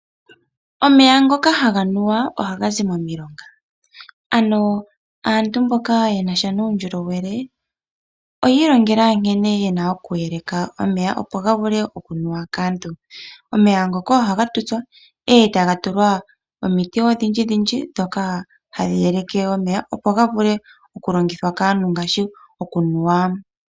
Omeya ngoka haga nuwa oha ga zi momilonga, ano aantu mboka ye na sha nuundjolowele oya ilongela nkene yena okuyeleka omeya opo ga vule okunuwa kaantu. Omeya ngoka ohaga tutswa e taga tulwa omiti odhindji dhindji dhoka hadhi yeleke omeya, opo ga vule okulongithwa kaantu ngaashi okunuwa.